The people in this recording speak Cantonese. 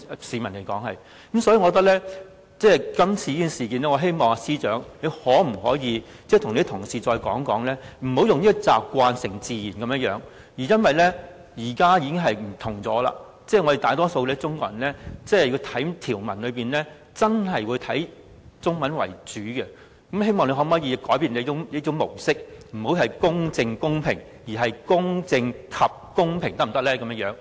司長可否就這次事件再次提醒你的同事，不要習慣成自然，因為現時的環境已有所不同，我們大多數中國人讀條文，真的是以中文為準，希望他可以改變這種模式，不要"公正公平"，而是"公正及公平"，可否這樣？